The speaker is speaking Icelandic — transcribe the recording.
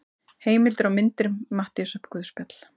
Heimildir og myndir Matteusarguðspjall.